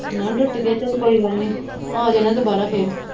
ਨੋਹ ਟੁੱਟ ਗਿਆ ਚਲ ਕੋਈ ਗੱਲ ਨਹੀਂ ਆ ਜਾਣਾ ਦੁਬਾਰਾ ਫਿਰ।